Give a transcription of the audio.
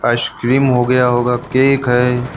Ice cream हो गया होगा केक है।